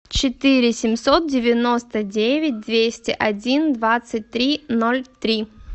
четыре семьсот девяносто девять двести один двадцать три ноль три